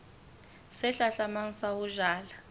se hlahlamang sa ho jala